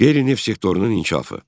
Qeyri-neft sektorunun inkişafı.